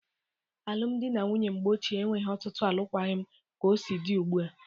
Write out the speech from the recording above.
Alum dị na nwunye mgbe ochie enweghi ọtụtụ alụkwaghị m ka o si dị ụgbụa.